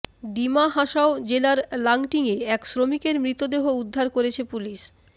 ডিমা হাসাও জেলার লাংটিঙে এক শ্রমিকের মৃতদেহ উদ্ধার করেছে পুলিশ